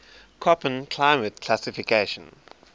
koppen climate classification